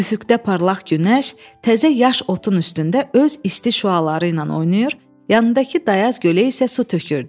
Üfüqdə parlaq günəş təzə yaş otun üstündə öz isti şüaları ilə oynayır, yanındakı dayaz gölə isə su tökürdü.